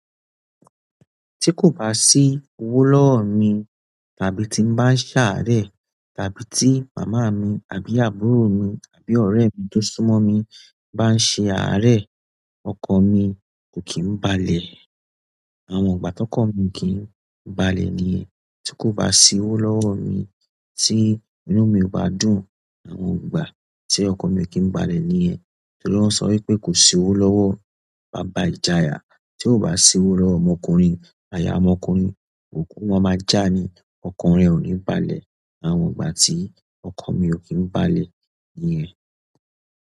Ti ko ba si owo lọwọ mi tàbí ti n ba saare tàbí ti mama mi àbí àbúrò mi àbí oremi ti o sun mo mi ba n saare ọkan mi koki n balẹ̀. Àwọn ọgbà tọkọ mi kì ń balẹ̀ níyẹn. Tí kò bá sí owó lọ́wọ́ mi, tí inú mi ò bá dùn, àwọn ọgbà tí ọkọ mi kì ń balẹ̀ níyẹn. Torí wọn sọ wípé kò sí owó lọ́wọ́ baba ìjayà. Tí ò bá sí owó lọ́wọ́ ọmọkùnrin, aya ọmọkùnrin kò kú, wọn máa já ni. Ọkan rẹ ò ní balẹ̀. Àwọn ọgbà tí ọkọ mi ò kí ń balẹ̀ níyẹn.